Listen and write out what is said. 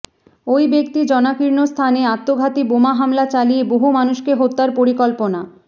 ওই ব্যক্তি জনাকীর্ণ স্থানে আত্মঘাতি বোমা হামলা চালিয়ে বহু মানুষকে হত্যার পরিকল্পনা